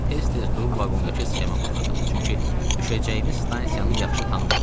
Tez-tez durub vaqondakı sxemə baxırdım, çünki düşəcəyimiz stansiyanı yaxşı tanımırdıq.